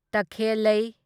ꯇꯈꯦꯜꯂꯩ